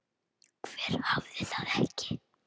Hver hafði það ekki?